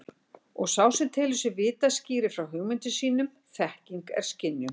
Og sá sem telur sig vita skýrir frá hugmyndum sínum þekking er skynjun.